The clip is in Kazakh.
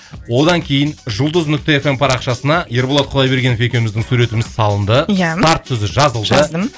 одан кейін жұлдыз нүкте эф эм парақшасына ерболат құдайбергенов екеуміздің суретіміз салынды иә старт сөзі жазылды жаздым